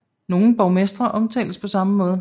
Nogle borgmestre omtales på samme måde